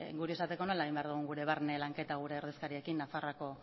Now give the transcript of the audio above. guri esateko nola egin behar dugun gure barne lanketa gure ordezkariekin nafarroako